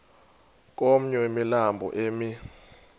komnye wemilambo emi